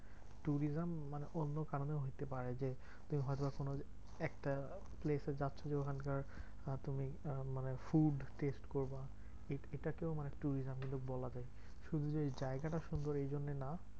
Tourism মানে অন্য কারণে হতে পারে যে, হয়তো কোনো একটা place এ যাচ্ছো যে ওখানকার আহ তুমি মানে food test করবা এট এটাকেও মানে tourism কিন্তু বলা যায়। শুধু যে জায়গাটা সুন্দর এই জন্যে না।